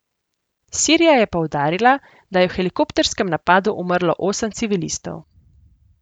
Sirija je poudarila, da je v helikopterskem napadu umrlo osem civilistov.